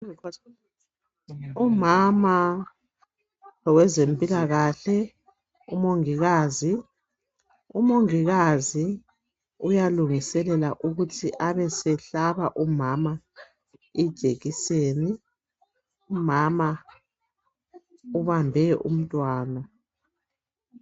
Umama lowezempilakahle umongikazi, umongikazi uyalungiselela ukuthi abesehlabe umama ijekiseni, umama ubambe umntwana.